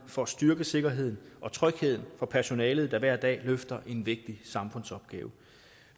for at styrke sikkerheden og trygheden for personalet der hver dag løfter en vigtig samfundsopgave